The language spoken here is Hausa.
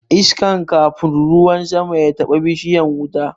Iskan kafun ruwan sama ya taɓa bishiyan wuta